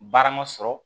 Baara ma sɔrɔ